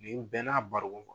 Ni u bɛɛ n'a barigon kɔnɔ